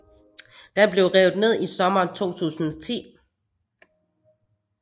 Den blev revet ned i sommeren 2010